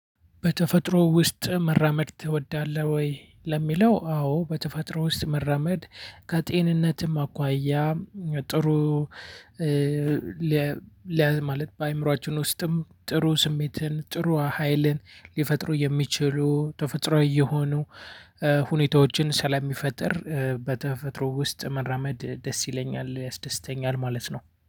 በተፈጥሮ ውስጥ መራመድ ትወዳለህ ወይ? ለሚለው አዎ በተፈጥሮ ውስጥ መራመድ ከጤንነትም አኳያ ጥሩ። ለማለት በአእምሮአችን ውስጥም ጥሩ ስሜትን ጥሩ ሀይልን ሊፈጥሩ የሚችሉ ተፈጥሮ የሆኑ ሁኔታዎችን ስለሚፈጥር በተፈጥሮ ውስጥ መራመድ ደስ ይለኛል ያስደስተኛል ማለት ነው